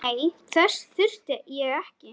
Nei, þess þurfti ég ekki.